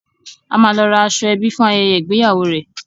A máa lọ ra aṣọ-ẹbí fún ayẹyẹ ìgbéyàwó rẹ̀.